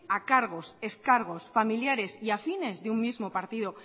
a cargos ex cargos familiares y afines de un mismo partido